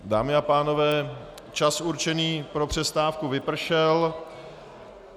Dámy a pánové, čas určený pro přestávku vypršel.